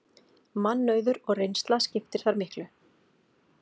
Mannauður og reynsla skiptir þar miklu